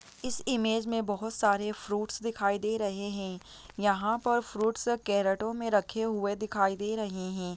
Image मे बहुत सारे फ्रूटस दिखाई दे रहे हैं यहाँ पर फ्रूटस कैरटों में रखे हुए दिखाई दे रहे है।